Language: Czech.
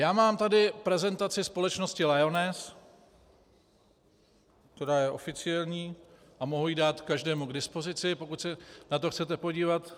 Já mám tady prezentaci společnosti Lyoness, která je oficiální, a mohu ji dát každému k dispozici, pokud se na to chcete podívat.